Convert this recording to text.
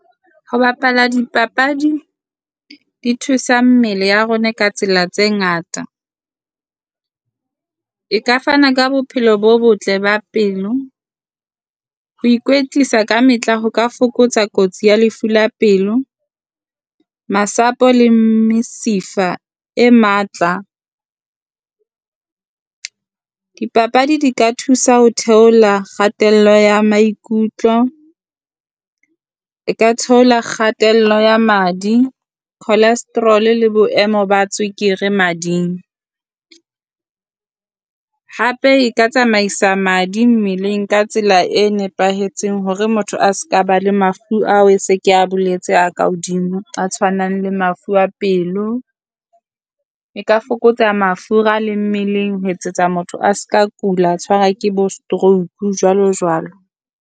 Ho bapala dipapadi di thusa mmele ya rona ka tsela tse ngata, e ka fana ka bophelo bo botle ba pelo. Ho ikwetlisa ka mehla ho ka fokotsa kotsi ya lefu la pelo, masapo le mesifa e matla. Dipapadi di ka thusa ho theola Kgatello ya maikutlo, e ka theola kgatello ya madi, cholesterol la boemo ba tswekere mading. Hape e ka tsamaisa madi mmeleng ka tsela e nepahetseng hore motho a se ka ba le mafu ao e se kea boletse a ka hodimo, a tshwanang le mafu a pelo. E ka fokotsa mafura le mmeleng ho etsetsa motho a se ka kula a tshwara ke bo stroke jwalo jwalo.